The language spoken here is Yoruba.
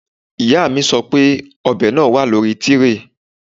Ìyá mi sọ pé ọ̀bẹ náà wà lórí tíréè